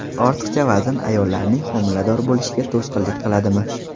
Ortiqcha vazn ayollarning homilador bo‘lishiga to‘sqinlik qiladimi?